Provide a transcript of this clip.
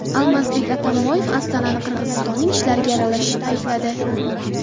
Almazbek Atambayev Ostonani Qirg‘izistonning ichki ishlariga aralashishda aybladi .